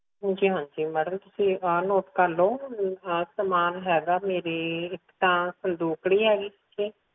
ਹਾਂਜੀ ਹਾਂਜੀ ਮੈਡਮ ਤੁਸੀ note ਕਰ ਲਾਓ ਸਮਾਂ ਹੈਗਾ ਮੇਰੇ ਇੱਕ ਤਾ ਸੰਦੂਕੜੀ ਹੈਗੀ